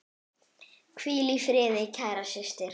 Hvíl í friði, kæra systir.